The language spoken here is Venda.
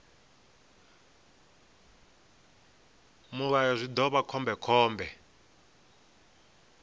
mulayo zwi ḓo vha khombekhombe